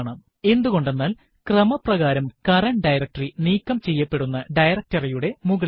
എന്തുകൊണ്ടെന്നാൽ ക്രമപ്രകാരം current directory നീക്കം ചെയ്യപ്പെടെണ്ടുന്ന directory യുടെ മുകളിലല്ല